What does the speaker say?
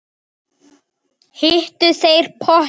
Heitur pottur, heitur pottur